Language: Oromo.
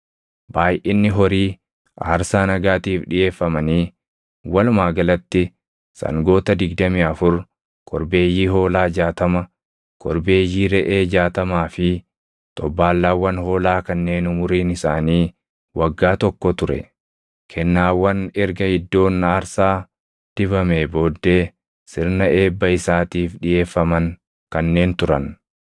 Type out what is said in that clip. Baayʼinni horii aarsaa nagaatiif dhiʼeeffamanii walumaa galatti sangoota digdamii afur, korbeeyyii hoolaa jaatama, korbeeyyii reʼee jaatamaa fi xobbaallaawwan hoolaa kanneen umuriin isaanii waggaa tokko ture. Kennaawwan erga iddoon aarsaa dibamee booddee sirna eebba isaatiif dhiʼeeffaman kanneen turan.